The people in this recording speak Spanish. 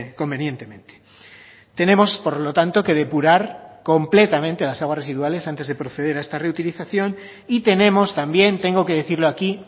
convenientemente tenemos por lo tanto que depurar completamente las aguas residuales antes de proceder a esta reutilización y tenemos también tengo que decirlo aquí